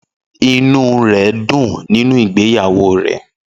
Inú rẹ̀ dùn nínú ìgbéyàwó rẹ̀